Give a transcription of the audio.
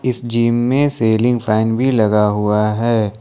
इस जिम में ceiling fan भी लगा हुआ है।